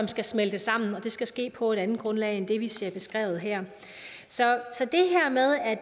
skal smelte sammen det skal ske på et andet grundlag end det vi ser beskrevet her så